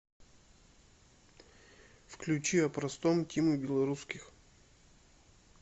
включи о простом тимы белорусских